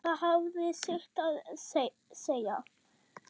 Það hafði sitt að segja.